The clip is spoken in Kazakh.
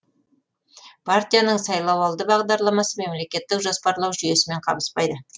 партияның сайлауалды бағдарламасы мемлекеттік жоспарлау жүйесімен қабыспайды